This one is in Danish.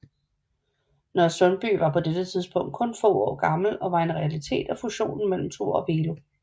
Nørresundby var på dette tidspunkt kun få år gammel og var en realitet af fusionen mellem Thor og Velo